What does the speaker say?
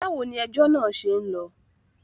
Báwo ni ejọ́ náà ṣe ń lọ?